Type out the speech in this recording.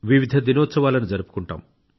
వివిధ దినోత్సవాలను జరుపుకుంటాం